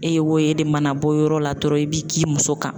E ye wo ye, e de mana bɔ yɔrɔ la dɔrɔn i b'i girin i muso kan.